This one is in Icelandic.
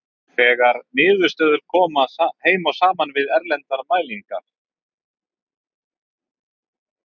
Þessar niðurstöður koma heim og saman við erlendar mælingar.